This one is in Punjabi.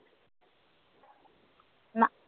ਨਾ